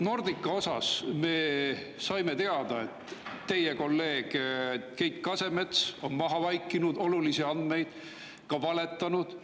Nordica kohta me saime teada, et teie kolleeg Keit Kasemets on maha vaikinud olulisi andmeid, ka valetanud.